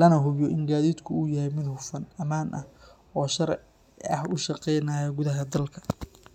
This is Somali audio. lana hubiyo in gaadiidku uu yahay mid hufan, ammaan ah, oo si sharci ah u shaqeynaya gudaha dalka.